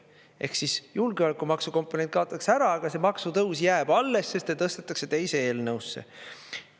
Ehk siis julgeolekumaksu komponent kaotatakse ära, aga see maksutõus jääb alles, sest see tõstetakse teise eelnõusse.